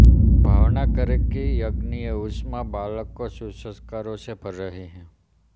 भावना करें कि यज्ञीय ऊष्मा बालक को सुसंस्कारों से भर रही है